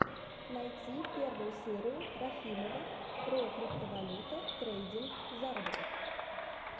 найти первую серию рахимова про криптовалюта трейдинг заработок